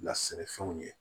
Na sɛnɛfɛnw ye